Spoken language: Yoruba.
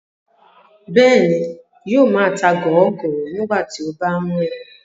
Bẹ́ẹ̀ni, yóò máa ta gọọgọ nígbà tí ó bá ń rìn